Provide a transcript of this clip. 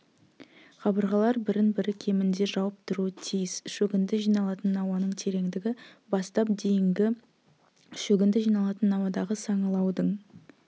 қабырғалар бірін-бірі кемінде жауып тұруы тиіс шөгінді жиналатын науаның тереңдігі бастап дейін шөгінді жиналатын науадағы саңылаудың